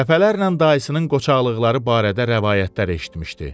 Dəfələrlə dayısının qoçaqlıqları barədə rəvayətlər eşitmişdi.